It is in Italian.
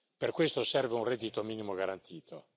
Per questo serve un reddito minimo garantito.